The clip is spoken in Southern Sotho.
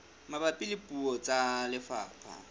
mabapi le puo tsa lefapha